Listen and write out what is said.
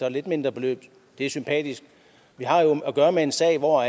et lidt mindre beløb det er sympatisk vi har jo at gøre med en sag hvor